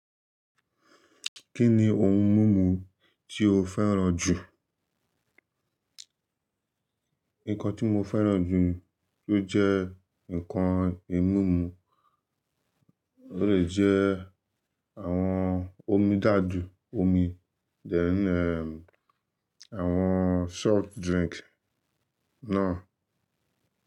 Kí ni ohun mímu tí o fẹ́ràn jù? Nǹkan tí mo fẹ́ràn jù tó jẹ́ nǹkan ì mímu ólè jẹ́ àwọn omí dá a jù omi, then eh àwọn soft drink náà.